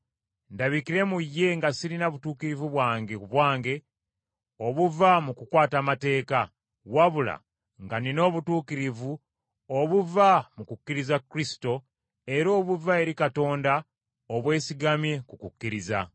ndabikire mu ye nga sirina butuukirivu bwange ku bwange obuva mu kukwata amateeka, wabula nga nnina obutuukirivu obuva mu kukkiriza Kristo, era obuva eri Katonda obwesigamye ku kukkiriza.